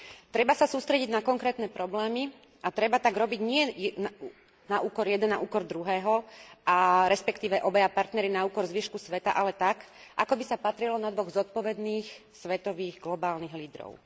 Treba sa sústrediť na konkrétne problémy a treba tak robiť nie jeden na úkor druhého, respektíve obaja partneri na úkor zvyšku sveta, ale tak, ako by sa patrilo na dvoch zodpovedných svetových globálnych lídrov.